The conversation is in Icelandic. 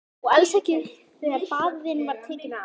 Og alls ekki þegar faðir þinn var tekinn af.